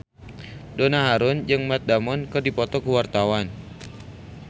Donna Harun jeung Matt Damon keur dipoto ku wartawan